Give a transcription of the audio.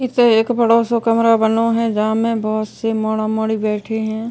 इस एक बड़ो सा कमरा बनो है। जा में बहोत से मोढ़ा-मोढ़ी बैठे हैं।